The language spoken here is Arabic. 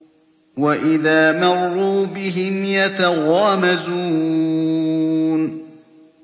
وَإِذَا مَرُّوا بِهِمْ يَتَغَامَزُونَ